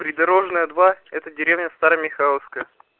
придорожная два это деревня старомихайловское